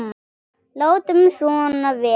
Látum svona vera.